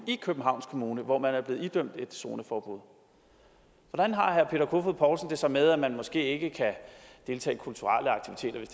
i københavns kommune hvor man er blevet idømt zoneforbuddet hvordan har herre peter kofod poulsen det så med at man måske ikke kan deltage